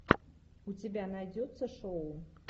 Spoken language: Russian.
у тебя найдется шоу